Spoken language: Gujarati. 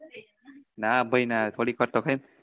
ના ભાઈ ના થોડીક વાર તો